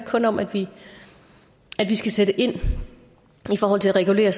kun om at vi skal sætte ind i forhold til at regulere